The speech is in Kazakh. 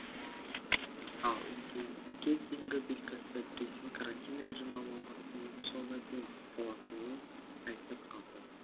ал үндеуге дейінгі белгілісі президент карантин режимі мамырдың соңына дейін сақталатынын айтып қалды